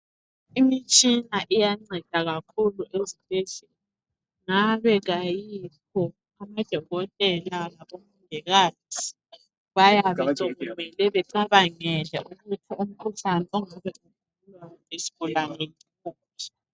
Imitshina iyanceda kakhulu ezibhedlela ngabe kayikho abodokotela labomongikazi bayabe sokumele becabangele ukuthi umkhuhlane ongabe ugulwa yisigulawe wuphi